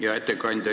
Hea ettekandja!